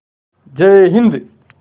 जय हिन्द